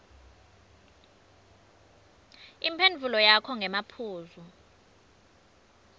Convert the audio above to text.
imphendvulo yakho ngemaphuzu